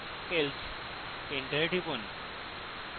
else enter টিপুন